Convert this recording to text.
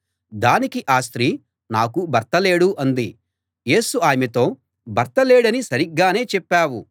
దానికి ఆ స్త్రీ నాకు భర్త లేడు అంది యేసు ఆమెతో భర్త లేడని సరిగ్గానే చెప్పావు